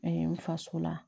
n faso la